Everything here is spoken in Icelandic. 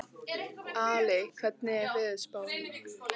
Ali, hvernig er veðurspáin?